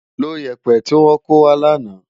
Ló yèpè ti wò kówá làná